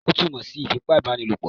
Ó túmọ̀ sí ìfipá ìbá ni lòpọ̀